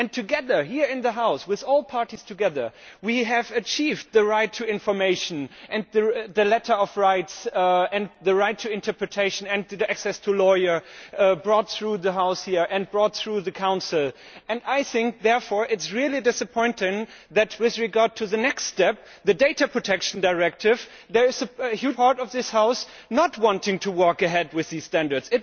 Together, here in the House, with all the parties together, we have achieved the right to information and the letter of rights and the right to interpretation and access to a lawyer, all brought through the House here and through the Council. I think, therefore, it is really disappointing that with regard to the next step the data protection directive there is a huge part of this House which does not want to go ahead with these standards.